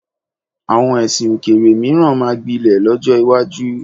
Àwọn ẹ̀sìn òkèèrè mìíràn máa gbilẹ̀ lọ́jọ́ iwájú.